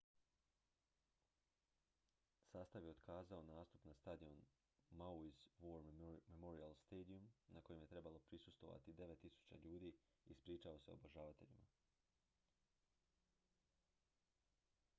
sastav je otkazao nastup na stadionu maui's war memorial stadium na kojem je trebalo prisustvovati 9.000 ljudi i ispričao se obožavateljima